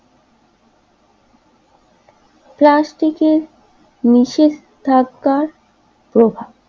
প্লাস্টিকে নিষেধাজ্ঞার প্রভাব